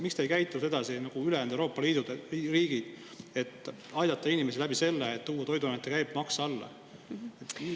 Miks te ei käitu sedasi nagu ülejäänud Euroopa Liidu riigid, et aidata inimesi sellega, et toote toiduainete käibemaksu alla?